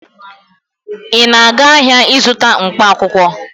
Ị na-aga ahịa ịzụta mkpaakwụkwọ.